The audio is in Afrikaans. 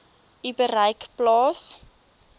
u bereik plaas